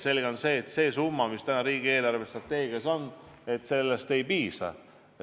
Selge on see, et sellest summast, mis on täna riigi eelarvestrateegias, ei piisa.